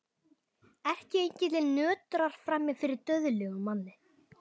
Erkiengillinn nötrar frammi fyrir dauðlegum manni.